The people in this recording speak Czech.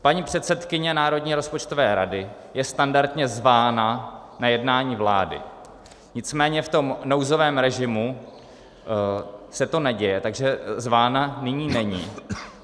Paní předsedkyně Národní rozpočtové rady je standardně zvána na jednání vlády, nicméně v tom nouzovém režimu se to neděje, takže zvána nyní není.